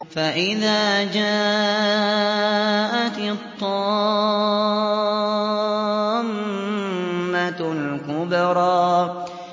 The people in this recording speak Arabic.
فَإِذَا جَاءَتِ الطَّامَّةُ الْكُبْرَىٰ